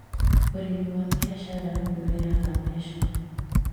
ũrĩmi wa biacara nĩũrehaga mbeca